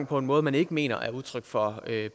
på en måde man ikke mener er udtryk for